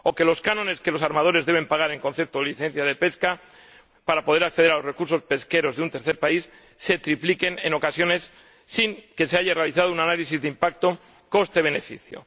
ni que los cánones que los armadores deben pagar en concepto de licencia de pesca, para poder acceder a los recursos pesqueros de un tercer país, se tripliquen en ocasiones sin que se haya realizado un análisis del impacto coste beneficio.